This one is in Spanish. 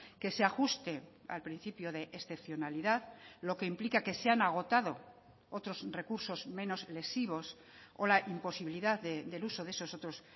que se ajuste al principio de excepcionalidad lo que implica que se han agotado otros recursos menos lesivos o la imposibilidad del uso de esos otros